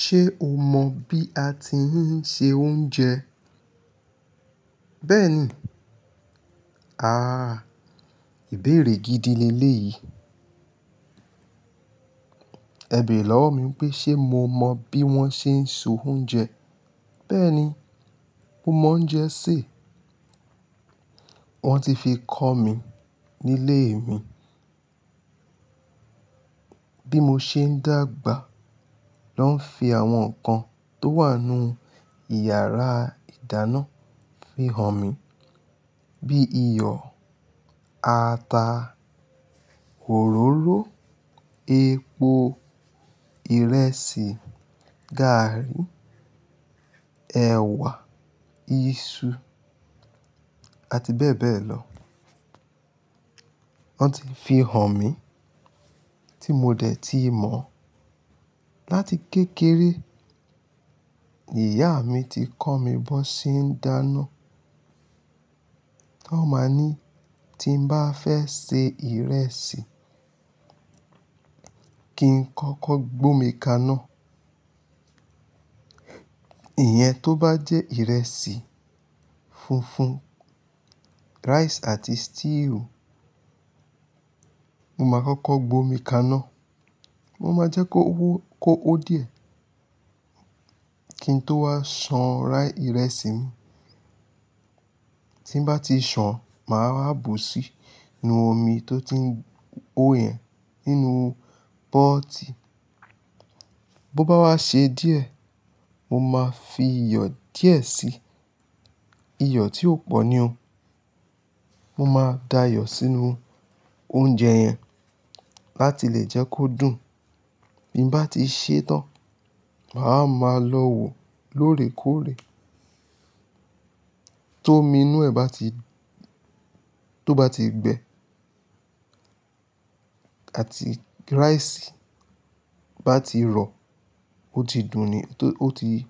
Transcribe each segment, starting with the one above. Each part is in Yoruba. Ṣé o mọ bí a ti ń se oúnjẹ? Bẹ́ẹ̀ni. Ah, ìbéèrè gidi le eléyìí. Ẹ̀ bẹ̀ere lọ́wọ́ mi n pé ṣe mo mọ bí wọ́n ṣe ń so oúnjẹ. Bẹ́ẹ̀ni, mo mọ oúnjẹ sè. Wọ́n ti fi kọ́ mi nílé mi. Bí mo ṣe ń dàgbà, ló ń fi àwọn nǹkan tó wà n nú ìyàrá ìdáná fi hàn mí. Bíi iyọ̀, ata, òróró, epo, ìrẹsì, gàrrí, ẹ̀wà, iṣu àti bẹ́ẹ̀ bẹ́ẹ̀ lọ. Wọ́n ti fi hàn mí tí mo dẹ̀ ti mọ̀. Láti kékeré ni ìyá mi ti kọ́ mi bó ṣe ń dáná. Wọ́n máa ní tí n bá fẹ́ se ìrẹsì, kí n kọ́kọ́ gbómi kaná. Ìyẹn tó bá jẹ́ ìrẹsì funfun, rice àti stew, mo máa kọ́kọ́ gbómi kaná. Mo máa jẹ́ kó wó, ko ho díẹ̀ kí n tó wá san ra ìrẹsì mi. Tí n bá ti san, màá wá bù sí nú omi tó ti ń ho yẹn ínú pọ́ọ́tì. Bo bá wá ṣe díẹ̀, mo máa fi iyọ̀ díẹ̀ sí i. Iyọ̀ tí ò pọ̀ ní o. Mo máa da iyọ̀ sínú oúnjẹ yẹn láti lè jẹ́ kó dùn. Bí n bá ti ṣẹ́ tán, màá wa ma lọ wò lóòrèkóòrè. Tómi inú ẹ̀ bá ti-- tó bá ti gbẹ, àti rice bá ti rọ, ó ti dùn ni. Tó ó ti--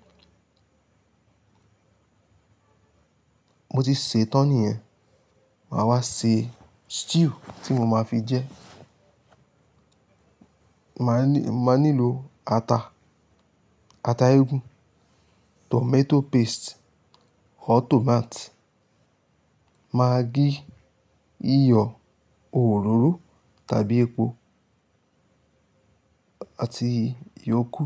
mo ti ṣẹ́ tán niyẹn. Màá wá ṣe stew tí mo máa fi jẹ. Màá ni, maa nílò ata, ata eégún, tomato paste or tomate, maggí, iyọ̀, òróró tàbí epo àti iyókùù.